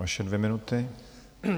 Vaše dvě minuty.